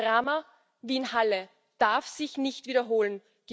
Ein Drama wie in Halle darf sich nicht wiederholen.